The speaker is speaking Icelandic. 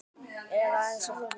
Eða aðeins of þungur?